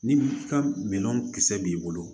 Ni i ka minɛn kisɛ b'i bolo